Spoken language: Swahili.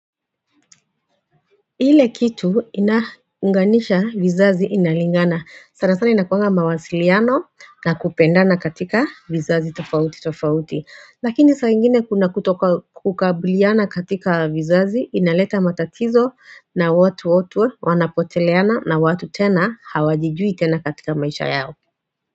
Ile kitu inaanganisha vizazi inalingana sana sana inakuanga mawasiliano na kupendana katika vizazi tofauti tofauti Lakini saingine kuna kutoka kukabiliana katika vizazi inaleta matatizo na watu wote wanapoteleana na watu tena hawajijui tena katika maisha yao.